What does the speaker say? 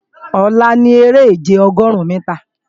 Ọ̀la ni eré-ìje Ọgọrun-mìtà